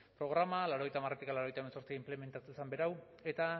programa laurogeita hamaretik laurogeita hemezortzi inplementatu zen berau eta